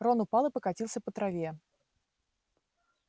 рон упал и покатился по траве